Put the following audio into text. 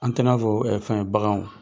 An tɛ i n'a fɔ ɛ fɛn baganw